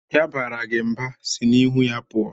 Ya baara gị mba, sị n'ihu ya pụọ!